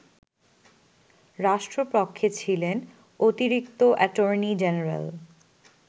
রাষ্ট্রপক্ষে ছিলেন অতিরিক্ত অ্যাটর্নি জেনারেল